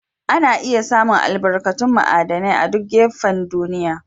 Ana iya samu albarkatun ma'aidinai a'duk gafen duniyya.